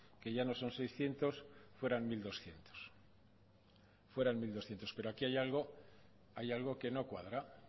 que ya no son seiscientos fueran mil doscientos pero aquí hay algo que no cuadra